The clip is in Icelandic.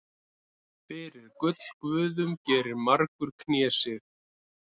Fyrir gullguðum gerir margur knésig.